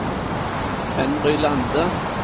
Henry Lande